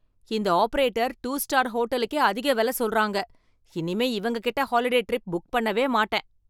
இந்த operator two star ஹோட்டலுக்கே அதிக வெல சொல்றாங்க, இனிமே இவங்ககிட்ட ஹாலிடே ட்ரிப் புக் பண்ணவே மாட்டேன்.